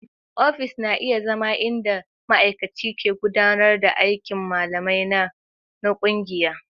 Ofis na iya zama inda ma'aikaci ke gudanar da aikin malamai na ƙungiya.